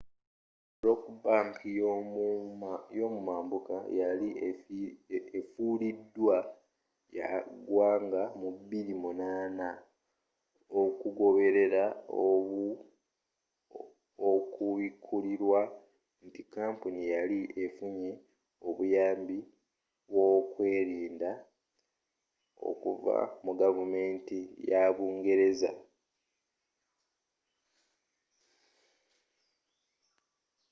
rock bank y'omumambuka yali efulidwa ya ggwanga mu 2008 okugoberera okubikulirwa nti kampuni yali efunye obuyambi bw'okwerinda okuva mu gavumenti yabungereza